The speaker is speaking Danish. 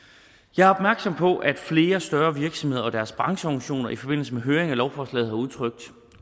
jeg er opmærksom på at flere større virksomheder og deres brancheorganisationer i forbindelse med høring af lovforslaget har udtrykt